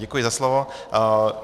Děkuji za slovo.